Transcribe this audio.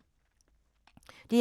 DR2